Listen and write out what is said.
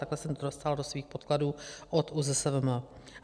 Takhle jsem to dostala do svých podkladů od ÚZSVM.